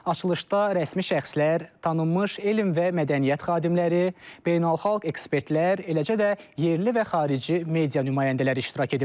Açılışda rəsmi şəxslər, tanınmış elm və mədəniyyət xadimləri, beynəlxalq ekspertlər, eləcə də yerli və xarici media nümayəndələri iştirak ediblər.